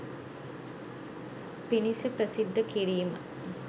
පිණිස ප්‍රසිද්ධ කිරීම